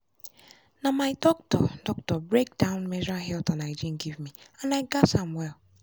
na my doctor doctor break down menstrual health and hygiene give me and i gatz am well.